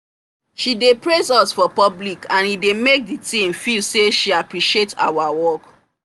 she dey praise us for public and e dey make the team feel say she appreciate our work